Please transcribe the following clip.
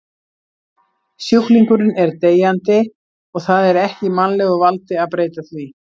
Sjúklingurinn er deyjandi og það er ekki í mannlegu valdi að breyta því.